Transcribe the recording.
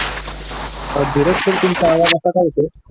अह धीरज सर तुमचा आवाज असा का येतोय